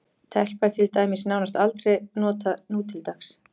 Telpa er til dæmis nánast aldrei notað nútildags.